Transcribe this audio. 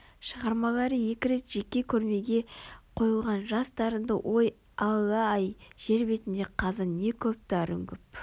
шығармалары екі рет жеке көрмеге қойылған жас дарынды ой алла-ай жер бетінде қазір не көп-дарын көп